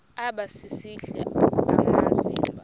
aba sisidl amazimba